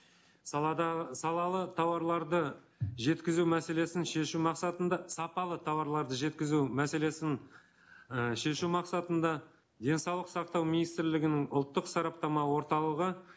салалы тауарларды жеткізу мәселесін шешу мақсатында сапалы тауарларды жеткізу мәселесін і шешу мақсатында денсаулық сақтау министрлігінің ұлттық сараптама орталығы